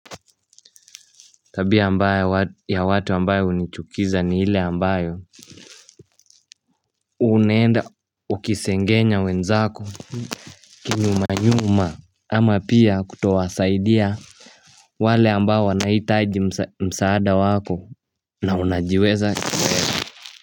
Tabia mbaya ya watu ambayo unichukiza ni ile ambayo Unaenda ukisengenya wenzako kinyumanyuma ama pia kutowasaidia wale ambao wanaitaji msaada wako na unajiweza.